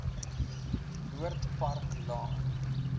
noord park laan